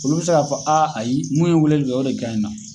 Olu be se k'a fɔ a ayi mun ye weleli kɛ o de gaɲɛ na